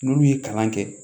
N'olu ye kalan kɛ